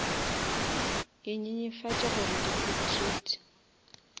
e nyenyefatše gore di potrait